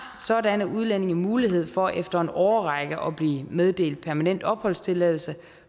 sådanne udlændinge mulighed for efter en årrække at blive meddelt permanent opholdstilladelse